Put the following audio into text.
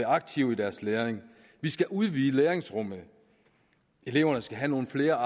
aktive i deres læring vi skal udvide læringsrummet eleverne skal have nogle flere